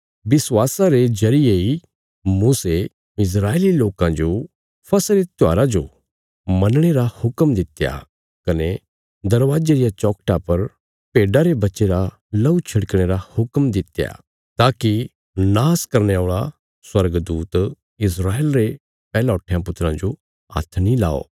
विश्वासा रे जरिये इ मूसे इस्राएली लोकां जो फसह रे त्योहारा जो मनणे रा हुक्म दित्या कने दरवाजे रिया चौखटा पर भेड्डा रे बच्चे रा लहू छिड़कणे रा हुक्म दित्या ताकि नाश करने औल़ा स्वर्गदूत इस्राएल रे पैहलौठयां पुत्राँ जो हाथ नीं लाओ